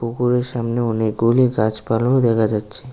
পুকুরের সামনে অনেকগুলি গাছপালাও দেখা যাচ্ছে।